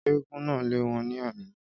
Éégún náà lé wọn ní àná